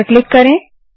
इस पर क्लिक करें